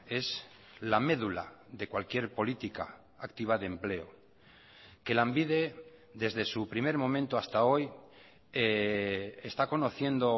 es la médula de cualquier política activa de empleo que lanbide desde su primer momento hasta hoy está conociendo